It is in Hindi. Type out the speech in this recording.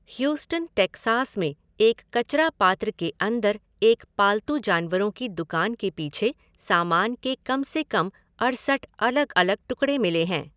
ह्यूस्टन, टेक्सास में एक कचरा पात्र के अंदर एक पालतू जानवरों की दुकान के पीछे सामान के कम से कम अड़सठ अलग अलग टुकड़े मिले हैं।